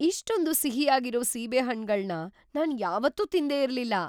ಇಷ್ಟೊಂದ್ ಸಿಹಿಯಾಗಿರೋ ಸೀಬೆ ಹಣ್ಣ್‌ಗಳ್ನ ನಾನ್ ಯಾವತ್ತೂ ತಿಂದೇ ಇರ್ಲಿಲ್ಲ!